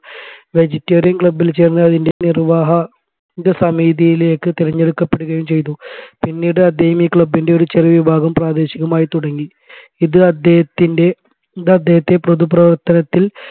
vegetarian club ൽ ചേർന്ന് അതിന്റെ നിർവ്വാഹക സമതിയിലേക് തിരഞ്ഞെടുക്കപ്പെടുകയും ചെയ്തു പിന്നീട് അദ്ദേഹം ഈ club ൻറെ ഒരു ചെറിയ വിഭാഗം പ്രാദേശികമായി തുടങ്ങി ഇത് അദ്ദേഹത്തിൻെറ ഇത് അദ്ദേഹത്തെ പൊതുപ്രവർത്തനത്തിൽ